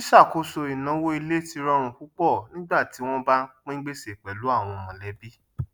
sì ṣàkóso ìnáwó ilé tí rọrùn púpọ nígbà tí wọn bá ń pín gbèsè pẹlú àwọn mọlẹbí